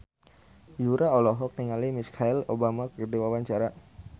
Yura olohok ningali Michelle Obama keur diwawancara